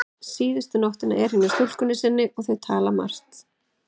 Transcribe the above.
Síðustu nóttina er hann hjá stúlkunni sinni og þau tala margt.